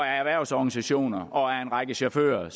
af erhvervsorganisationer og af en række chauffører